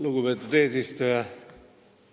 Lugupeetud eesistuja!